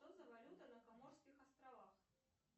что за валюта на коморских островах